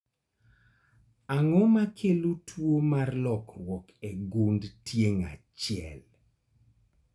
Ang'o makelo tuo mar lokruok e gund tieng' achiel?